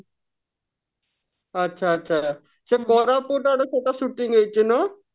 ଆଚ୍ଛା ଆଚ୍ଛା ସେ କୋରାପୁଟ ଆଡେ ସେଟା shouting ହେଇଛି ନୁହ